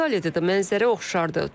İtaliyada da mənzərə oxşardır.